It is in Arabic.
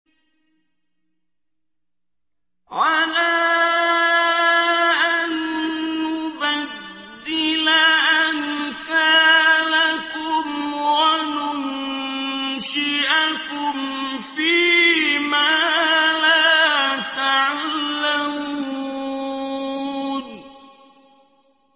عَلَىٰ أَن نُّبَدِّلَ أَمْثَالَكُمْ وَنُنشِئَكُمْ فِي مَا لَا تَعْلَمُونَ